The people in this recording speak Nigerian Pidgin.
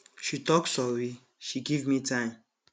she tok sorry she give me time